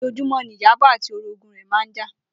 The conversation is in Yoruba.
Ojoojúmó̩ ni Ìyábò̩ àti orogún rè̩ máa ń jà